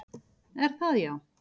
Er það já?